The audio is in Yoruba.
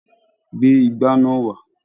Gbé igbá náà wà!